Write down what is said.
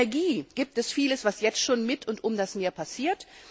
Energie da gibt es vieles, was jetzt schon mit und um das Meer passiert.